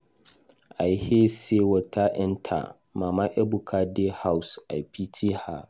I hear say water enter mama Ebuka de house. I pity her.